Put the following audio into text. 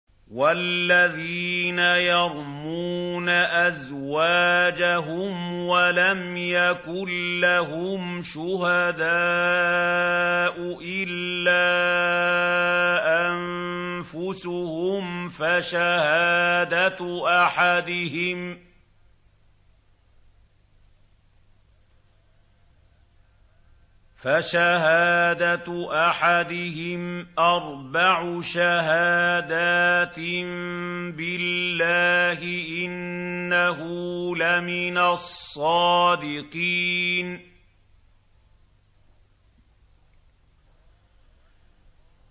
وَالَّذِينَ يَرْمُونَ أَزْوَاجَهُمْ وَلَمْ يَكُن لَّهُمْ شُهَدَاءُ إِلَّا أَنفُسُهُمْ فَشَهَادَةُ أَحَدِهِمْ أَرْبَعُ شَهَادَاتٍ بِاللَّهِ ۙ إِنَّهُ لَمِنَ الصَّادِقِينَ